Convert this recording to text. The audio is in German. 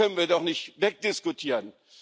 Das können wir doch nicht wegdiskutieren.